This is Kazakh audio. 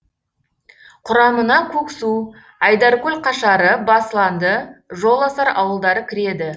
құрамына көксу айдаркөл қашары басланды жоласар ауылдары кіреді